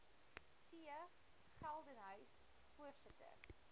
t geldenhuys voorsitter